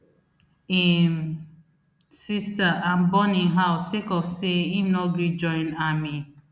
im sister and burn im house sake of say im no gree join army